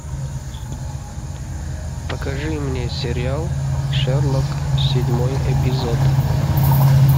покажи мне сериал шерлок седьмой эпизод